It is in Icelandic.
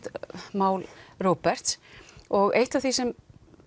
mál Róberts og eitt af því sem